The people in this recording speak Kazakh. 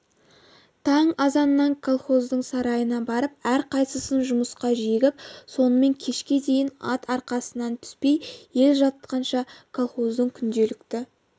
таң азаннан колхоздың сарайына барып әрқайсысын жұмысқа жегіп сонымен кешке дейін ат арқасынан түспей ел жатқанша колхоздың күнделікті